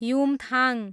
Yumthang